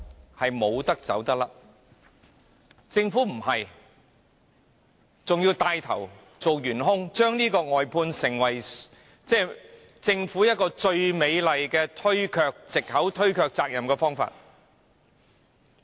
可是，政府沒有這樣做，反而牽頭成為元兇，將外判制度用作政府推卻責任最美麗的藉口和方法。